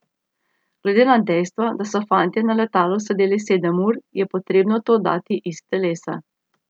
Glede na dejstvo, da so fantje na letalu sedeli sedem ur, je potrebno to dati iz telesa.